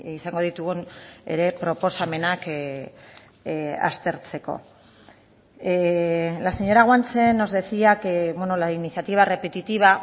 izango ditugun ere proposamenak aztertzeko la señora guanche nos decía que la iniciativa repetitiva